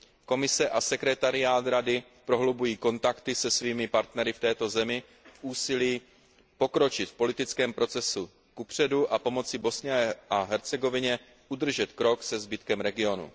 Komise a sekretariát Rady prohlubují kontakty se svými partnery v této zemi v úsilí pokročit v politickém procesu kupředu a pomoci Bosně a Hercegovině udržet krok se zbytkem regionu.